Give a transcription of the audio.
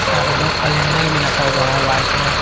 यहां पर दो कैलेंडर भी रखा हुआ है वाइट में।